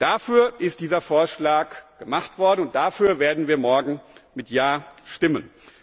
Dafür ist dieser Vorschlag gemacht worden und dafür werden wir morgen mit Ja stimmen.